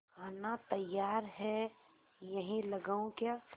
खाना तैयार है यहीं लगाऊँ क्या